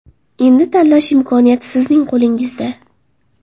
Endi tanlash imkoniyati sizning qo‘lingizda.